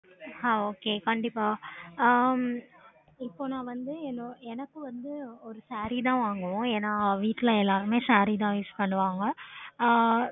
ஆஹ் okay கண்டிப்பா இப்போ நாங்க வந்து saree தா வாங்குவோம் என்ன வீட்ல எல்லாருமே saree தா use பண்ணுவாங்க